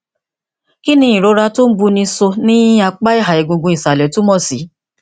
kí ni ìrora tó ń buni so ní apá ìha egungun ìsàlẹ túmọ sí